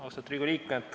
Austatud Riigikogu liikmed!